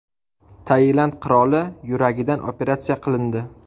Tailand qiroli yuragidan operatsiya qilindi.